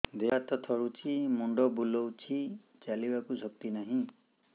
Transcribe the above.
ଦେହ ହାତ ଥରୁଛି ମୁଣ୍ଡ ବୁଲଉଛି ଚାଲିବାକୁ ଶକ୍ତି ନାହିଁ